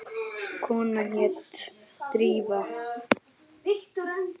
Konan hét Drífa.